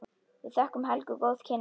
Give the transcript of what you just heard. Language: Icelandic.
Við þökkum Helgu góð kynni.